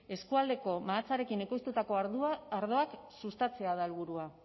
eskualdeko mahatsarekin ekoiztutako ardoak sustatzea da helburua